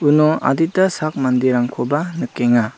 uno adita sak manderangkoba nikenga.